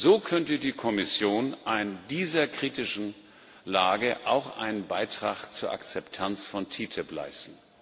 So könnte die Kommission in dieser kritischen Lage auch einen Beitrag zur Akzeptanz von TTIP leisten.